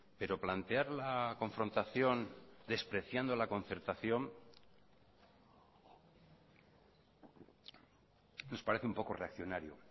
pero plantear la confrontación despreciando la concertación nos parece un poco reaccionario